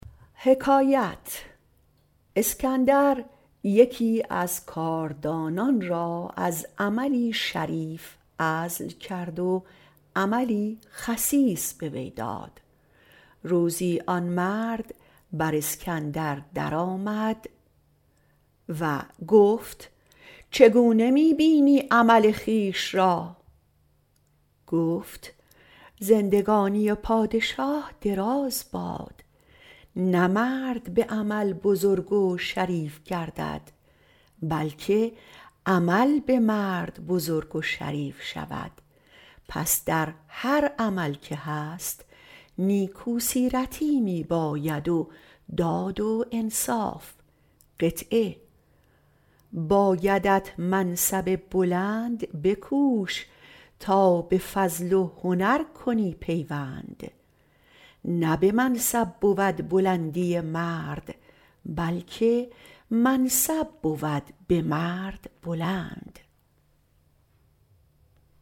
اسکندر یکی از کارداران را از عملی شریف عزل کرد و عملی خسیس به وی داد روزی آن مرد بر اسکندر درآمد گفت چگونه می بینی عمل خویش را گفت زندگانی پادشاه دراز باد نه مرد به عمل بزرگ و شریف گردد بلکه عمل به مرد بزرگ و شریف شود در هر عملی که هست نیکو سیرتی می باید و داد و انصاف اسکندر را خوش آمد عمل وی را به وی باز داد بایدت منصب بلند بکوش تا به فضل و هنر کنی پیوند نه به منصب بود بلندی مرد بلکه منصب شد به مرد بلند